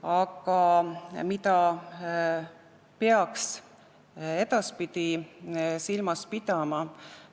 Aga mida peaks edaspidi silmas pidama?